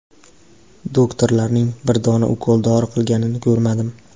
Doktorlarning bir dona ukol-dori qilganini ko‘rmadim.